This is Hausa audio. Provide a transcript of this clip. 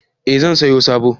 Eh zan saya sabo